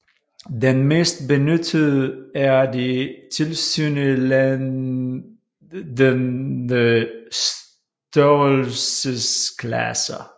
Den mest benyttede er de tilsyneladende størrelsesklasser